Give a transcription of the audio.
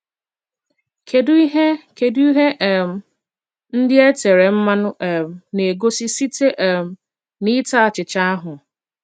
Kedụ ihe Kedụ ihe um ndị e tere mmanụ um na - egosi site um n’ịta achịcha ahụ?